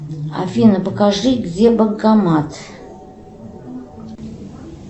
афина покажи где банкомат